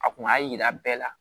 A kun b'a yira bɛɛ la